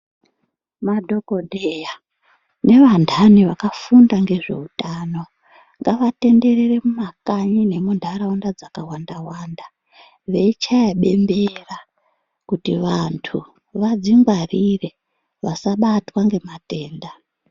Madhokodheya nevandani vakafunda ngezveutano, ngavatenderere mumakanyi nemundaraunda dzakawanda-wanda ,veyichaya bembera kuti vantu vadzingwarire vasabatwa ngematenda.